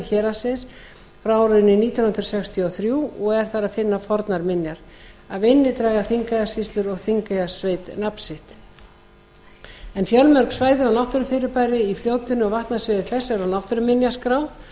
héraðsins frá árinu nítján hundruð sextíu og þrjú og er þar að finna fornar minjar af þingey draga þingeyjarsýslur og þingeyjarsveit nafn sitt fjölmörg svæði og náttúrufyrirbæri í fljótinu og vatnasviði þess eru á náttúruminjaskrá